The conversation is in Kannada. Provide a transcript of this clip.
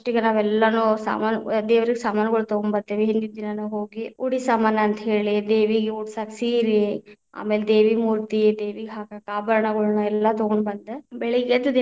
ಇಗ ನಾವೆಲ್ಲಾನು ಸಾಮಾನು ದೇವ್ರೀಗೆ ಸಾಮಾನುಗಳು ತಗೋಂಬತಿ೯ವಿ, ಹಿಂದಿನ ದಿನಾನ ಹೋಗಿ ಉಡಿ ಸಾಮಾನ ಅಂತ ಹೇಳಿ ದೇವಿಗ ಉಡಸಾಕ ಸೀರೆ, ಆಮೇಲೆ ದೇವಿ ಮೂತಿ೯ ದೇವಿಗ ಹಾಕಾಕ ಆಭರಣಗಳನ್ನ ಎಲ್ಲಾ ತಗೊಂಡ ಬಂದ ಬೆಳಗ್ಗೆ ಎದ್ದ ದಿನಾ.